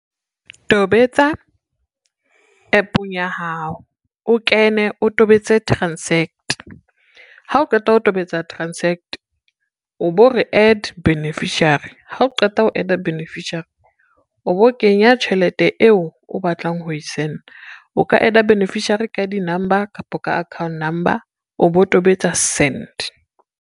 Tobetsa, app-ong ya hao o kene o tobetse transact ha o qeta ho tobetsa transact, o bo re add beneficiary, ha o qeta ho add-a beneficiary, o bo kenya tjhelete eo o batlang ho e send-a. O ka add-a beneficiary ka di-number kapa ka account number o bo tobetsa send.